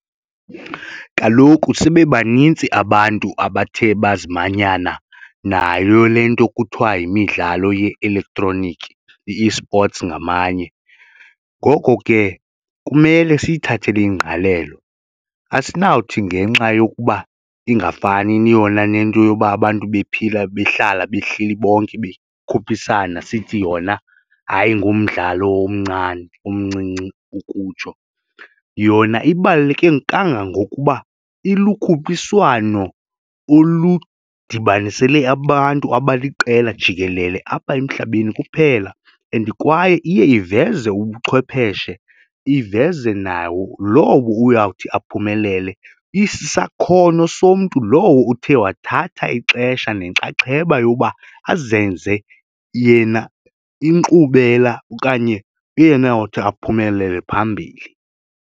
Kaloku sibe banintsi abantu abathe bazimanyana nayo le nto kuthiwa yimidlalo ye-elektroniki i-esports ngamanye, ngoko ke kumele siyithathele ingqalelo asinawuthi ngenxa yokuba ingafani yona nento yoba abantu bephila behlala behleli bonke bekhuphisana sithi yona, hayi, ngumdlalo omncane omncinci ukutsho. Yona ibaluleke kangangokuba ilukhuphiswano oludibanisele abantu abaliqela jikelele apha emhlabeni kuphela and kwaye iye iveze ubuchwepheshe, iveze nawo lowo uyawuthi aphumelele isisakhono somntu lowo uthe wathatha ixesha nenxaxheba yokuba azenze yena inkqubela okanye eyonawuthi aphumelele phambili.